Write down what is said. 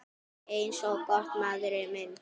Eins gott, maður minn